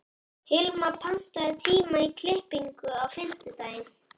Hilma, pantaðu tíma í klippingu á fimmtudaginn.